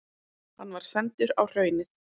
Hann var sendur á Hraunið.